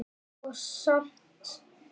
Og samt.